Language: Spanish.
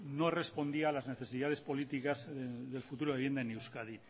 no respondía a las necesidades políticas del futuro de la vivienda en euskadi